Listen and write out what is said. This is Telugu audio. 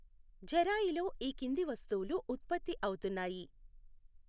ఝెరాయిలో ఈ కింది వస్తువులు ఉత్పత్తి అవుతున్నాయి.